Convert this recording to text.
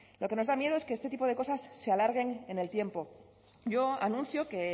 lo que nos da miedo es que este tipo de cosas se alarguen en el tiempo yo anuncio que